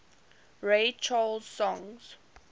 ray charles songs